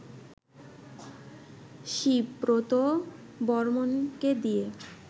শীবব্রত বর্মণকে দিয়ে